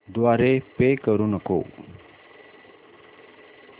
द्वारे पे करू नको